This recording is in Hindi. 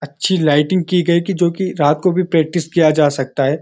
अच्छी लाइटिंग की गई कि जो कि रात को भी प्रैक्टिस किया जा सकता है।